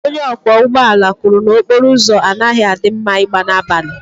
onye ọkwọ ụgbọ ala kwuru na okporo ụzọ a na-adịghị mma ịgba n'abalị